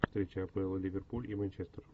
встреча апл ливерпуль и манчестер